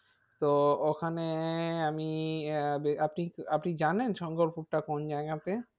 তো ওখানে আমি আহ আপনি আপনি জানেন শঙ্করপুরটা কোন জায়গাতে?